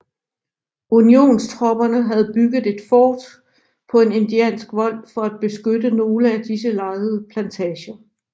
Unionstropperne havde bygget et fort på en indiansk vold for at beskytte nogle af disse lejede plantager